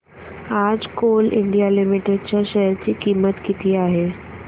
आज Coal India Limited च्या share ची किंमत किती आहे